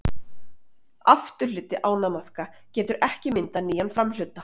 Afturhluti ánamaðka getur ekki myndað nýjan framhluta.